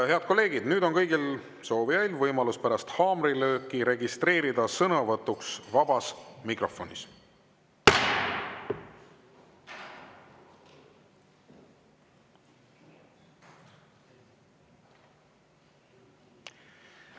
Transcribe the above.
Head kolleegid, nüüd on kõigil soovijail võimalus pärast haamrilööki registreeruda sõnavõtuks vabas mikrofonis.